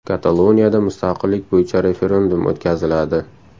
Kataloniyada mustaqillik bo‘yicha referendum o‘tkaziladi.